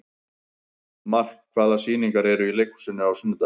Mark, hvaða sýningar eru í leikhúsinu á sunnudaginn?